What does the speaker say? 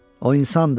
O insandır.